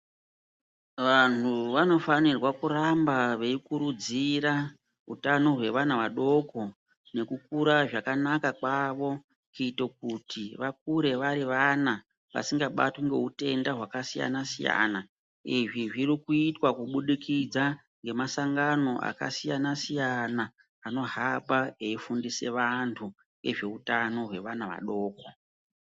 Vantu vanofanirwa kuramba veikurudzira utano hwevana vadoko nekukura zvakanaka kwavo kuitire kuti vakure vari vana vasingabatwi ngeutenda hwakasiyana siyana. Izvi zirikuitwa kubudikidza ngemasangano akasiyana siyana anohamba eifundisa vantu ngezveutano hwevana vadoko.